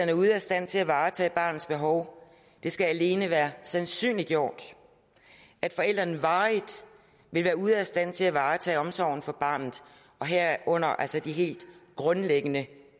er ude af stand til at varetage barnets behov det skal alene være sandsynliggjort at forældrene varigt vil være ude af stand til at varetage omsorgen for barnet herunder altså de helt grundlæggende